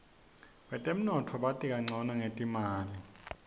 betemnotfo bati kancono ngetimali